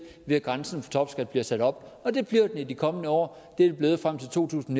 ved at grænsen for topskat bliver sat op og det bliver den i de kommende år det er den blevet frem til to tusind